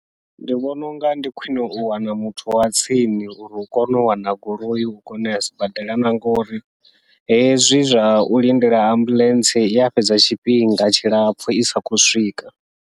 Ndi vhona unga ndi khwiṋe u wana muthu wa tsini uri hu kone u wana goloi u kone uya sibadela, na ngauri hezwi zwa u lindela ambuḽentse iya fhedza tshifhinga tshilapfhu isa khou swika.